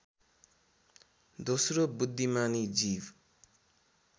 दोस्रो बुद्धिमानी जीव